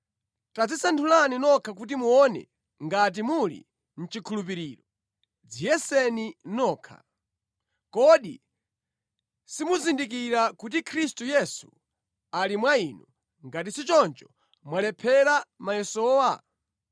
Tadzisanthulani nokha kuti muone ngati muli mʼchikhulupiriro; dziyeseni nokha. Kodi simuzindikira kuti Khristu Yesu ali mwa inu, ngati si choncho mwalephera mayesowa?